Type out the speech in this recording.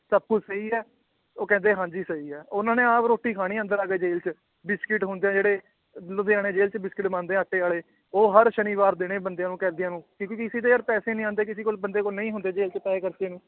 ਸਭ ਕੁਛ ਸਹੀ ਹੈ, ਉਹ ਕਹਿੰਦੇ ਹਾਂਜੀ ਸਹੀ ਹੈ ਉਹਨਾਂ ਨੇ ਆਪ ਰੋਟੀ ਖਾਣੀ ਅੰਦਰ ਆ ਕੇ ਜੇਲ੍ਹ ਚ, ਬਿਸਕਿਟ ਹੁੰਦੇ ਹੈ ਜਿਹੜੇ ਲੁਧਿਆਣੇ ਜੇਲ੍ਹ ਚ ਬਿਸਕਿਟ ਬਣਦੇ ਹੈ ਆਟੇ ਵਾਲੇ, ਉਹ ਹਰ ਸ਼ਨੀਵਾਰ ਦੇਣੇ ਬੰਦਿਆਂ ਨੂੰ ਕੈਦੀਆਂ ਨੂੰ ਕਿਉਂਕਿ ਕਿਸੇ ਦੇ ਯਾਰ ਪੈਸੇ ਨੀ ਆਉਂਦੇ ਕਿਸੇ ਕੋਲ ਬੰਦੇ ਕੋਲ ਨਹੀਂ ਹੁੰਦੇ ਜੇਲ੍ਹ ਚ ਪੈਸੇ ਖਰਚਣ ਨੂੰ